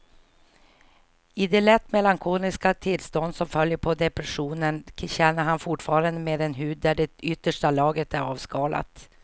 I det lätt melankoliska tillstånd som följer på depressionen känner han fortfarande med en hud där det yttersta lagret är avskalat.